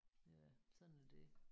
Ja sådan er det